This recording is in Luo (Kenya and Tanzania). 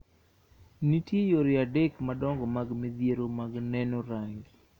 Nitie yore adek madongo mag midhiero mag neno rangi.